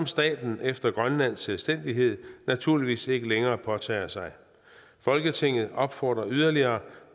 staten efter grønlandsk selvstændighed naturligvis ikke længere påtager sig folketinget opfordrer yderligere